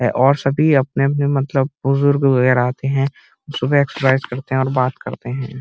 और सभी अपने-अपने मतलब के बुजुर्गों वगैरह आते हैं। सुबह एक्सर्साइज़ करते और बात करते हैं।